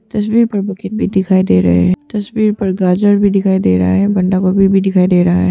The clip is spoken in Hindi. तस्वीर पर बकेट भी दिखाई दे रहे है तस्वीर पर गाजर भी दिखाई दे रहा है बंडा गोभी भी दिखाई दे रहा है।